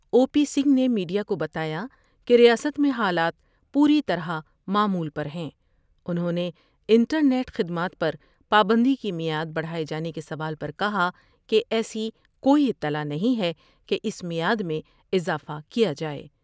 او P Singh نے media کو بتایا کہ ریاست میں حالات پوری طرح معمول پر ہیں انہوں نے انٹرنیٹ خدمات پر پابندی کی معیاد بڑھاۓ جانے کے سوال پر کہا کہ ایسی کوئی اطلاع نہیں ہے کہ اس معیاد میں اضافہ کیا جائے ۔